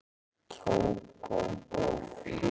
Tógó